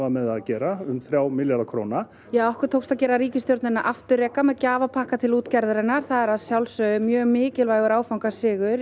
með það að gera um þrjá milljarða króna ja okkur tókst að gera ríkisstjórnina afturreka með gjafapakka til útgerðarinnar það er að sjálfsögðu mjög mikilvægur áfangasigur